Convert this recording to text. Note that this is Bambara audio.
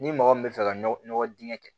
Ni mɔgɔ min bɛ fɛ ka nɔgɔ dingɛ kɛ